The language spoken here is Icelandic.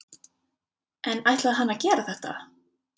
En ætlaði hann að gera þetta?